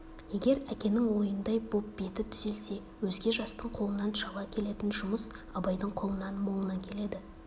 егер әкенің ойындай боп беті түзелсе өзге жастың қолынан шала келетін жұмыс абайдың қолынан молынан келеді